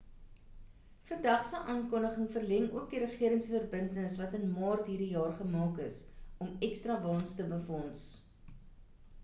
vandag se aankondiging verleng ook die regering se verbintenis wat in maart hierdie jaar gemaak is om ekstra waens te befonds